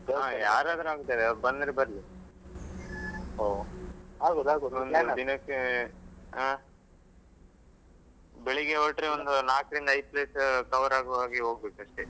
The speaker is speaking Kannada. ಯಾರಾದ್ರೂ ಆಗ್ತದೆ, ಅವರು ಬಂದ್ರೆ ಬರ್ಲಿ ಓಹ್ ಒಂದು ದಿನಕ್ಕೆ ಆಹ್? ಬೆಳಿಗ್ಗೆ ಹೊರಟ್ರೆ ಒಂದು ನಾಲ್ಕ್ರಿಂದ ಐದು place cover ಆಗುವಾಗೆ ಹೋಗ್ಬೇಕು ಅಷ್ಟೇ.